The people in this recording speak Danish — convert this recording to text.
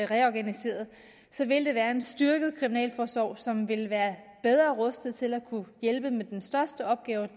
reorganiseret så vil det være en styrket kriminalforsorg som vil være bedre rustet til at kunne hjælpe med den største opgave